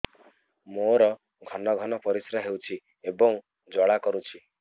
ମୋର ଘନ ଘନ ପରିଶ୍ରା ହେଉଛି ଏବଂ ଜ୍ୱାଳା କରୁଛି